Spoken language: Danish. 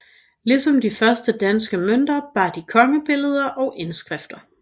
Ligesom de første danske mønter bar de kongebilleder og indskrifter